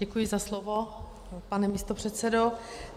Děkuji za slovo, pane místopředsedo.